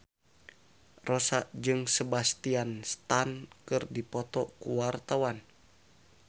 Rossa jeung Sebastian Stan keur dipoto ku wartawan